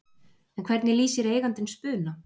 En hvernig lýsir eigandinn Spuna?